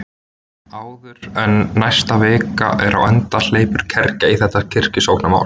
Áður en næsta vika er á enda hleypur kergja í þetta kirkjusóknarmál.